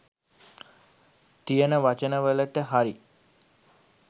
තියෙන වචන වලට හරි